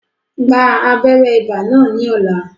Gba abéré ibà náà ní ní ọ̀la